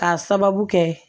K'a sababu kɛ